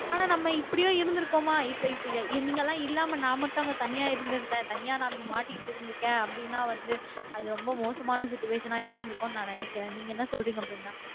ஆனா நம்ம இப்படியே இருந்திருக்கோமா இப்ப இப்ப நீங்க எல்லாம் இல்லாம நான் மட்டும் அங்க தனியா இருந்திருந்தா தனியா நான் அப்படி மாட்டிக்கிட்டு இருக்கேன் அப்படின்னா வந்து அது ரொம்ப மோசமான situation ஆ இருந்திருக்கும்ன்னு நான் நினைக்கிறேன் நீங்க என்ன சொல்றீங்க பிருந்தா